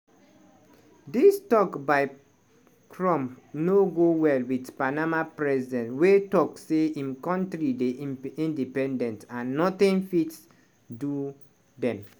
dis tok by trump no go well wit panama president wey tok say im kontri dey inindependent and nothing fit do dem.